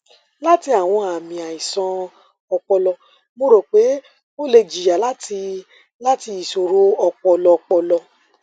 lati awọn aami aisan ọpọlọ mo ro pe o le jiya lati lati iṣoro ọpọlọ ọpọlọ